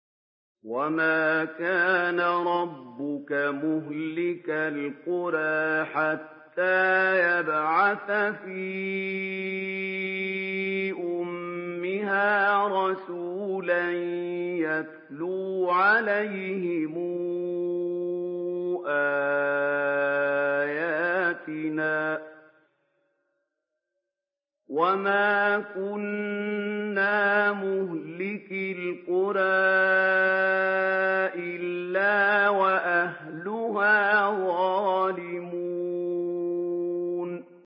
وَمَا كَانَ رَبُّكَ مُهْلِكَ الْقُرَىٰ حَتَّىٰ يَبْعَثَ فِي أُمِّهَا رَسُولًا يَتْلُو عَلَيْهِمْ آيَاتِنَا ۚ وَمَا كُنَّا مُهْلِكِي الْقُرَىٰ إِلَّا وَأَهْلُهَا ظَالِمُونَ